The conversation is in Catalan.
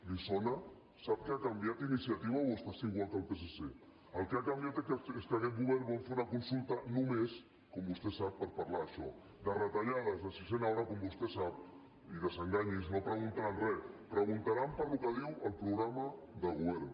li sona sap què ha canviat iniciativa o els passa igual que al psc el que ha canviat és que aquest govern vol fer una consulta només com vostè sap per parlar d’això de retallades de sisena hora com vostè sap i desenganyi’s no preguntaran re preguntaran pel que diu el programa de govern